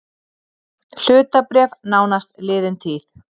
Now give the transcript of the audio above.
Hlutabréf nánast liðin tíð